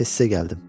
Bəlkə sizə gəldim.